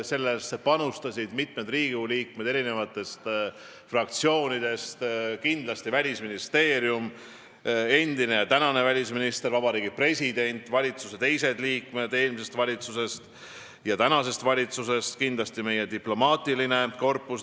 Sellesse panustasid mitmed Riigikogu liikmed eri fraktsioonidest, kindlasti Välisministeerium, endine ja tänane välisminister, Vabariigi President, teised valitsusliikmed eelmisest ja tänasest valitsusest, kindlasti meie diplomaatiline korpus.